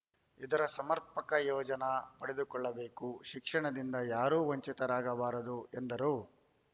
ಇದರ ಸಮರ್ಪಕ ಪ್ರಯೋಜನಾ ಪಡೆದುಕೊಳ್ಳಬೇಕು ಶಿಕ್ಷಣದಿಂದ ಯಾರೂ ವಂಚಿತರಾಗಬಾರದು ಎಂದರು